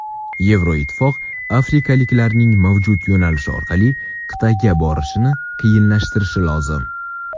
Yevroittifoq afrikaliklarning mavjud yo‘nalishlar orqali qit’aga borishini qiyinlashtirishi lozim.